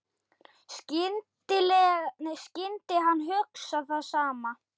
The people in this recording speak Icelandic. Skyldi hann hugsa það sama?